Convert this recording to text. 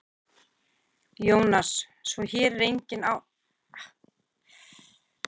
Jónas: Svo hér er engin hætta á ferðinni?